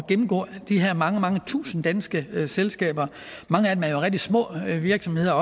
at gennemgå de her mange mange tusinde danske selskaber mange af dem er rigtig små virksomheder